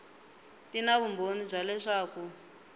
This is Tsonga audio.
ti na vumbhoni bya leswaku